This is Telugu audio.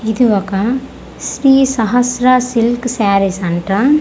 ఇది ఒక శ్రీ సహస్ర సిల్క్ సారీస్ అంట.